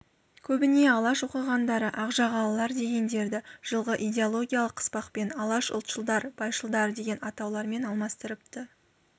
көбіне алаш оқығандары ақжағалылар дегендерді жылғы идеологиялық қыспақпен алаш ұлтшылдар байшылдар деген атаулармен алмастырыпты